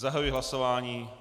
Zahajuji hlasování.